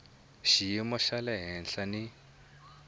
xiyimo xa le henhla ni